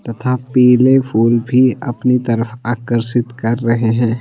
तथा पीले फूल भी अपनी तरफ आकर्षित कर रहे हैं।